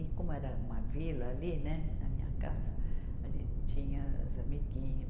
E como era uma vila ali, né, na minha casa, a gente tinha as amiguinha.